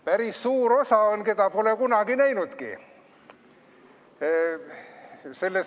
Päris suur osa on, keda pole kunagi näinudki.